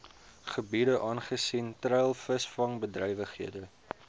gebiede aangesien treilvisvangbedrywighede